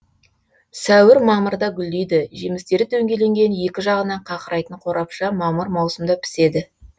сәуір мамырда гүлдейді жемістері дөңгеленген екі жағынан қақырайтын қорапша мамыр маусымда піседі